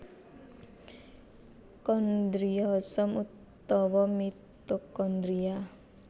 Kondriosom utawa mitokondria